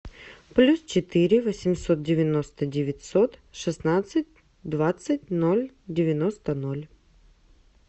плюс четыре восемьсот девяносто девятьсот шестнадцать двадцать ноль девяносто ноль